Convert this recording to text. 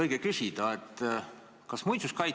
Teie käest on seda ka õige küsida.